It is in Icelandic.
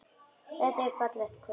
Þetta er fallegt kvöld.